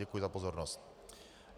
Děkuji za pozornost.